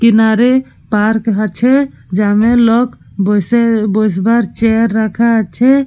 কিনারে পার্ক আছে যা মে লোক বসবার চেয়ার রাখা আছে।